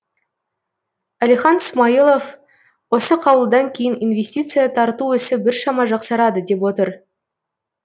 әлихан смайылов осы қаулыдан кейін инвестиция тарту ісі біршама жақсарады деп отыр